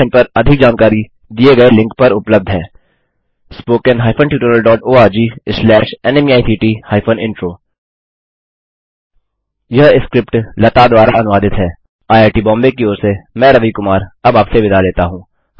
इस मिशन पर अधिक जानकारी दिए गए लिंक पर उपलब्ध है httpspoken tutorialorgNMEICT Intro यह स्किप्ट लता द्वारा अनुवादित है आईआईटी बॉम्बे की ओर से मैं रवि कुमार अब आपसे विदा लेता हूँ